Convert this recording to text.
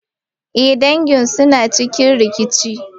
Eh, dangi suna cikin rikici.